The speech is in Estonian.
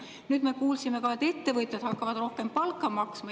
Nüüd me kuulsime, et ettevõtjad hakkavad rohkem palka maksma.